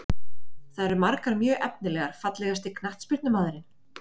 Það eru margar mjög efnilegar Fallegasti knattspyrnumaðurinn?